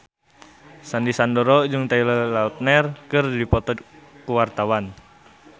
Sandy Sandoro jeung Taylor Lautner keur dipoto ku wartawan